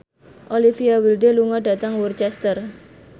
Olivia Wilde lunga dhateng Worcester